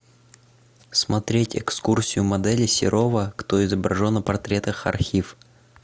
смотреть экскурсию модели серова кто изображен на портретах архив